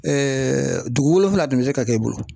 dugu wolonfila dun bɛ se ka k'i bolo.